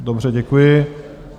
Dobře, děkuji.